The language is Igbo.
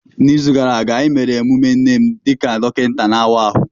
N'izu gara aga, anyị mere emume nne m dị ka dọkịta na-awa ahụ.